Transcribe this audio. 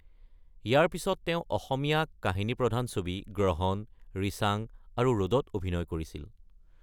ইয়াৰ পিছত তেওঁ অসমীয়া কাহিনীপ্ৰধান ছবি গ্ৰহন, ৰিচাং আৰু ৰ'দত অভিনয় কৰিছিল।